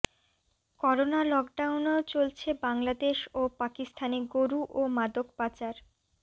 corona লকডাউনেও চলছে বাংলাদেশ ও পাকিস্তানে গরু ও মাদক পাচার